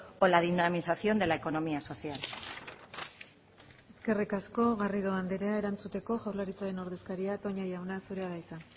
o la dinamización de la economía social eskerrik asko garrido andrea erantzuteko jaurlaritzaren ordezkaria toña jauna zurea da hitza